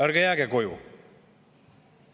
Ärge jääge koju!